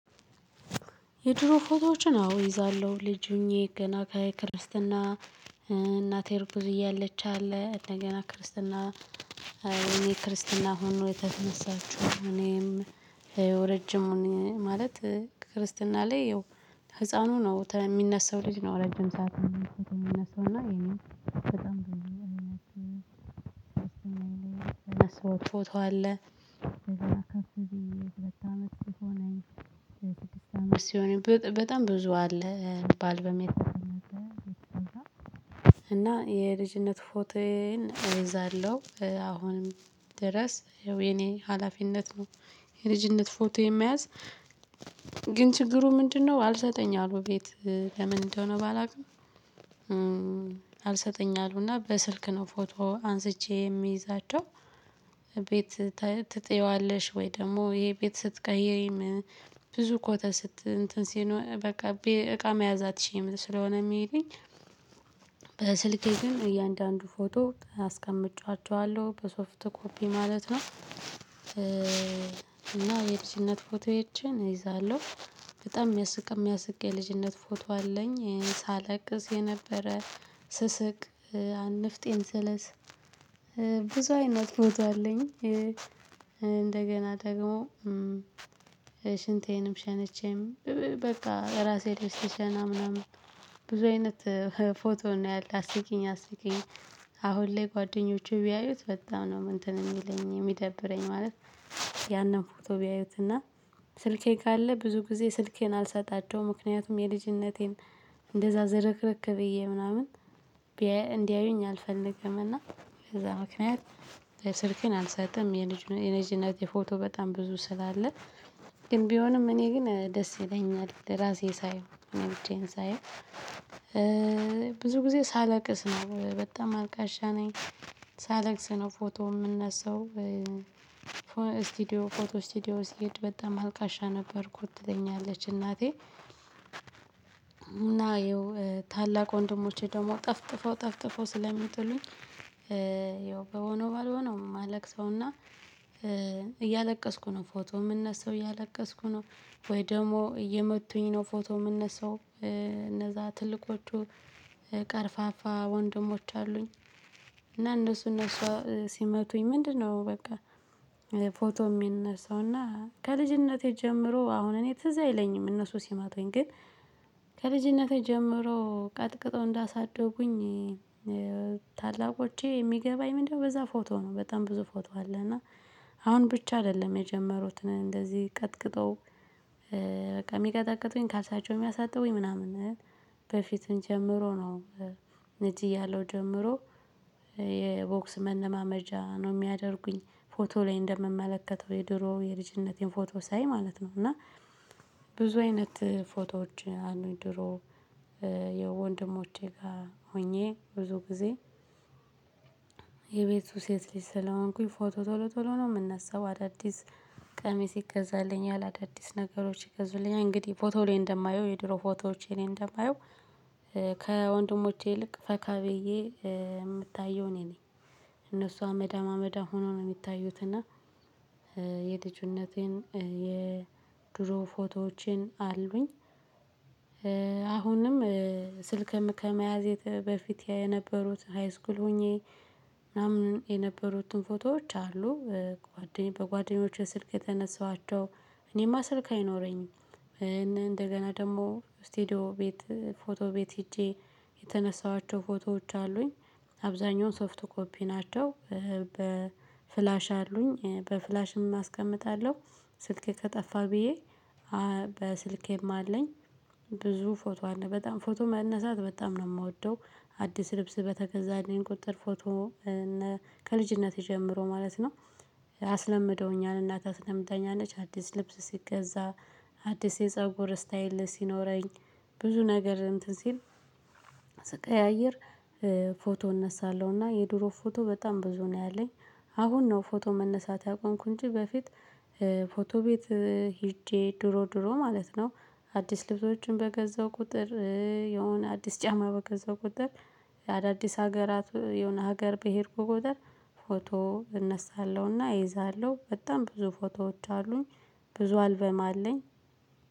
የድሮ ፎቶዎችን አዎ እይዛለሁ ልጅ ሆኜ ገና ከክርስትና እናቴ ርጉዝ እያለች አለ እንደገና ክርስትና የእኔ ክርስትና ሆኖ የተነሳችው እኔም። ረጅሙን ማለት ከክርስትና ላይ ህፃኑ ነው ሚነሳው ልጅ ነው ረጅም ሰዓት የሚነሳው እና እኛም በጣም ነው የምንነሳው እና። ሰዎች ፎቶ አለ ከፍተኛ ሁለት አመት ሲሆን በጣም ብዙ አለ ባል በሚል። እና የልጅነት ፎቶየን እዛለው አሁንም ድረስ ያው የኔ ሀላፊነት ነው። የልጅነት ፎቶ የመያዝ ግን ችግሩ ምንድነው? አልሰጠኝ አሉ ቤት ለምን እንደሆነ ባላውቅም። አልሰጠኝ አሉና በስልክ ነው ፎቶ አንስቼ እሚይዛቸው። ቤት ትጥየዋለሽ ወይ? ደሞ የቤት ስትቀየሪም ብዙ ኮተት እንትን ሲኖር በቃ እቃ መያዝ አትችይም ስለሆነ እሚሉኝ። በስልኬ ግን እያንዳንዱ ፎቶ አስቀምጬዋችዋለሁ በሶፍት ኮፒ ማለት ነው። እና የልጅነት ፎቶዬችን እይዛለው። በጣም የሚያስቅ የሚያስቅ የልጅነት ፎቶ አለኝ እሄ ሳለቅስ የነበረ ስስቅ። ንፍጤን ስልስ። ብዙ አይነት ፎቶ አለኝ። እንደገና ደግሞ ሽንቴንም ሸንቼም በቃ ራሴ ላይ ስሽና ምናምን። ብዙ አይነት ፎቶ ነው ያለ አስቂኝ አስቂኝ። አሁን ላይ ጓደኞቼ ቢያዩት በጣም ነው እንትን የሚለኝ ሚደብረኝ ማለት። ያንን ፎቶ ቢያዩትና ስልኬ ካለ ብዙ ጊዜ ስልኬን አልሰጣቸውም። ምክንያቱም የልጅነቴን እንደዛ ዝርክርክ ብዬ ምናምን እንዲያዩኝ አልፈልግም። እና በዛ ምክንያት ስልኬን አልሰጥም የልጅነቴ ፎቶ በጣም ብዙ ስላለ። ግን ቢሆንም እኔ ግን ደስ ይለኛል ራሴ ሳየው እኔ ብቻዬን ሳየው። ብዙ ጊዜ ሳለቅስ ነው በጣም አልቃሻ ነኝ። ሳለቅስ ነው ፎቶ እምነሳው። ስቲዲዮ ፎቶ ስቲዲዮ ሲሄድ በጣም አልቃሻ ነበርኩት ትለኛለች እናቴ እና ያው ታላቅ ወንድሞቼ ደግሞ ጠፍጥፎ ጠፍጥፎ ስለሚጥሉኝ። ያው በሆነው ባልሆነው ማለቅሰውና። እያለቀስኩ ነው ፎቶ እምነሳው እያለቀስኩ ነው። ወይ ደሞ እየመቱኝ ነው ፎቶ እምነሳው። እነዛ ትልቆቹ ቀርፋፋ ወንድሞች አሉኝ። እና እነሱ እነሱ ሲመቱኝ ምንድነው? በቃ ፎቶ የሚነሳው እና ከልጅነቴ ጀምሮ አሁን እኔ ትዝ አይለኝም እነሱ ሲመቱኝ ግን። ከልጅነቴ ጀምሮ ቀጥቅጠው እንዳሳደጉኝ። ታላቆቼ የሚገባኝ ምንድነው? በዛ ፎቶ ነው በጣም ብዙ ፎቶ አለ እና። አሁን ብቻ አይደለም የጀመሩትን እንደዚህ ቀጥቅጠው በቃ የሚቀጠቅጡኝ ካልሳቸው እሚያሳጥቡኝ ምናምን በፊትም ጀምሮ ነው። ልጅ እያለው ጀምሮ የቦክስ መለማመጃ ነው የሚያደርጉኝ። ፎቶ ላይ እንደምመለከተው የድሮ የልጅነቴን ፎቶ ሳይ ማለት ነው እና። ብዙ አይነት ፎቶዎች አሉኝ ድሮ። ከወንድሞቼ ጋር ሆኜ ብዙ ጊዜ። የቤቱ ሴት ልጅ ስለሆንኩኝ ፎቶ ቶሎ ቶሎ ነው ምነሳው አዳዲስ ቀሚስ ይገዛልኛል። አዳዲስ ነገሮች ይገዙልኛል እንግዲህ ፎቶ ላይ እንደማየው የድሮ ፎቶዎቼ ላይ እንደማየው። ከወንድሞቼ ይልቅ ፈካ ብዬ ምታየው እኔ ነኝ። እነሱ አመዳም አመዳም ሆኖ ነው የሚታዩት እና። የልጅነቴን የድሮ ፎቶዎቼን አሉኝ። አሁንም ስልክም ከመያዜ በፊት የነበሩት ሃይስኩል ሆኜ ምናምን የነበሩትን ፎቶዎች አሉ። ጓደኞቼ በጓደኞቼ ስልክ የተነሳኋቸው እኔማ ስልክ አይኖረኝም። እንደገና ደሞ ስቴዲዮ ቤት ፎቶ ቤት ሄጄ የተነሳኋቸው ፎቶዎች አሉኝ። አብዛኛውን ሶፍት ኮፒ ናቸው። በፍላሽ አሉኝ በፍላሽም ኣስቀምጣለው። ስልኬ ከጠፋ ብዬ በስልኬም አለኝ። ብዙ ፎቶ አለ በጣም ፎቶ መነሳት በጣም ነው እምወደው። አዲስ ልብስ በተገዛልኝ ቁጥር ፎቶ እና ከልጅነት ጀምሮ ማለት ነው። አስለምደውኛል እናቴ ኣስለምደኛለች አዲስ ልብስ ሲገዛ አዲስ የፀጉር ስታይል ሲኖረኝ ብዙ ነገር እንትን ሲል። ስቀያይር። ፎቶ እነሳለሁና የድሮ ፎቶ በጣም ብዙ ነው ያለኝ። አሁን ነው ፎቶ መነሳት ያቆምኩኝ በፊት። ፎቶ ቤት ሄጄ ድሮ ድሮ ማለት ነው። አዲስ ልብሶችን በገዛው ቁጥር የሆነ አዲስ ጫማ በገዛው ቁጥር የአዳዲስ ሀገራት የሆነ ሀገር በሄድኩ ቁጥር ፎቶ እነሳለሁና እይዛለው በጣም ብዙ ፎቶዎች አሉኝ። ብዙ አልበም አለኝ።